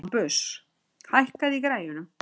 Bambus, hækkaðu í græjunum.